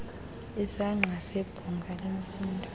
isaqa nebhunga lemfundo